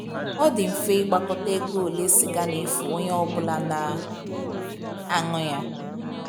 Ọ dị mfe ịgbakọta ego ole siga na - efu onye ọ bụla na - anù ya